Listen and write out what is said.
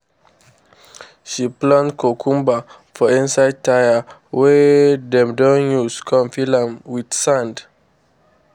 she plant cucumber for inside tyre wey dem don use con fill am with sand.